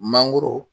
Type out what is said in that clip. Mangoro